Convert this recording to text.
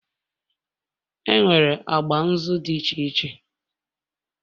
Enwere agba nzu dị iche iche